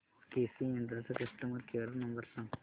केसी इंड चा customer care number सांग